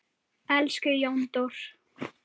Elsku Jóndór!